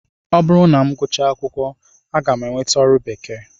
Ọ bụrụ na m gụchaa akwụkwọ, aga m enweta ọrụ bekee